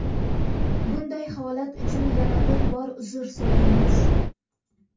Bunday holat uchun yana bir bor uzr so‘raymiz.